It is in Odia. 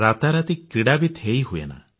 ରାତାରାତି କ୍ରୀଡାବିତ ହୋଇ ହୁଏନା